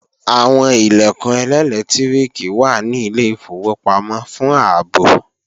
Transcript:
Àwọn Ilẹ̀kùn ẹlẹ́lẹtiriki wà ní ilé ìfowópamọ́ fún ààbò